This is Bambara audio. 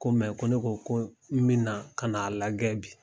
Ko ko ne ko ko n bi na ka na'a lajɛ bi.